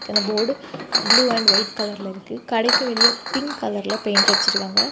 இந்த board blue and white கலர்ல இருக்கு கடைக்கு வெளியே பிங்க் கலர்ல பெயிண்ட் அடிச்சு இருக்காங்க.